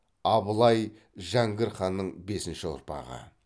абылай жәңгір ханның бесінші ұрпағы